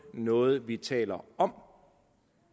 noget vi taler om